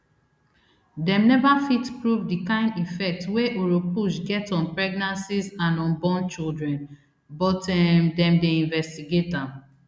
dem neva fit prove di kain effect wey oropouche get on pregnancies and unborn children but um dem dey investigate am